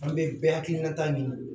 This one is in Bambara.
An bɛ bɛɛ hakilinata ɲini